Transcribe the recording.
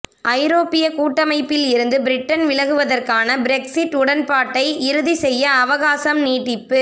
ஐரோப்பிய கூட்டமைப்பில் இருந்து பிரிட்டன் விலகுவதற்கான பிரெக்சிட் உடன்பாட்டை இறுதி செய்ய அவகாசம் நீட்டிப்பு